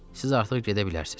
Siz artıq gedə bilərsiz.